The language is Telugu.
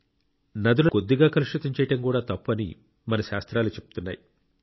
నదులలో కొద్దిగా కలుషితం చేయడం కూడా తప్పు అని మన శాస్త్రాలు చెప్తున్నాయి